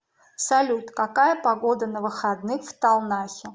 салют какая погода на выходных в талнахе